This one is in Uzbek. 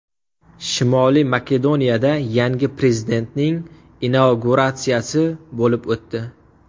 Shimoliy Makedoniyada yangi prezidentning inauguratsiyasi bo‘lib o‘tdi.